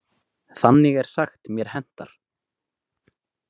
Þannig er sagt mér hentar.